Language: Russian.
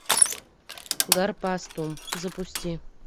гарпастум запусти